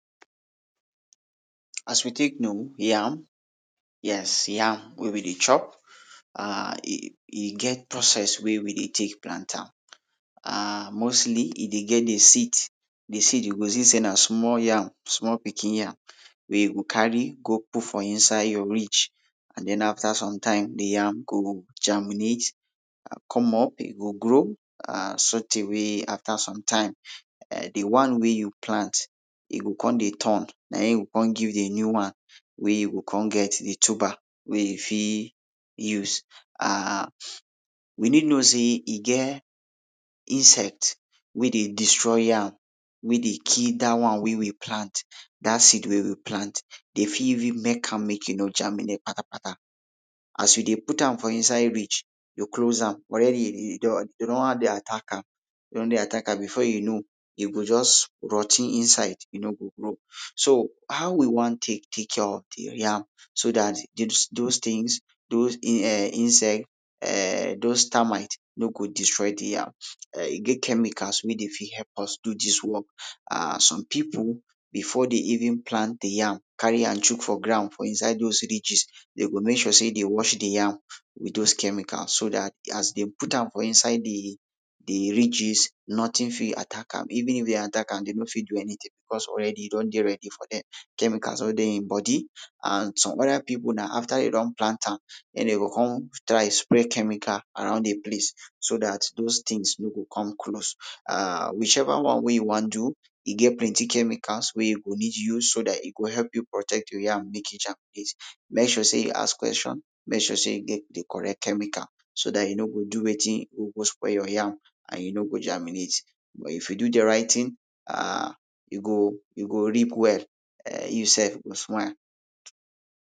as we tek know yam yes yam wey wi de chop ah ahhh e get process wey wi de tek de plant am ahhhh mostly e dey get de seed de seed yu go si sey na smal yam small pikin yam wey yu go cari go put fo inside yur ridge an den afta somtim de yam go germinate an com up e go grow ahhhh sortay wey afta sometim ehh de one wey yu plant e go com dey turn na it e go come give de new one wey go cum get de tuber wey e fit use wi nid know sey e get insect wey dey destroy yam wey de kill dat one wey wi plant dat seed wey wi plant dem fit even mek am mek e no germinate patakpata s yu de put am fo inside ridge de close am alreadi yu don dey atack am e don dey attack am befor yu know e go juz rot ten inside e no go grow so how wi wan tek tek care of de yam so dat dey dose tings dose insect ehhhhh dose termites no go destroy de yam ehh e get chemicals wey dey fit help us do dis wok an som pipu befor dem even plant de yam cari am chuk fo ground fo inside dose ridges dem go mek sure sey dem wash de yam wit dose chemicals so dat as dem put am fo inside de ridges nothing fit attack am even if dem attack am dem no fit do anytin becuz alreadi e don dey readi fo dem chemicals wey de em bodi an som oda pipu na afta dem don plant am den dem go cum try spray chemical around de place so dat dose tins no go cum close ahhhhhhhhhhh which eva one wen yu wan do e get plenti chemicals wey yu go nid use so dat e go help yu protect yur yam mek e germinate mek sure sey yu ask questions mek sure sey yu get de correct chemical so dat yu no go do wetin go spoil yur yam an e no go germinate but if yu do de rit ting ahhhhhh yu go yu go reap well ehhhhh yu sef go smile